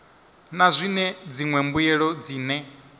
na zwine dziṅwe mbuelo dzine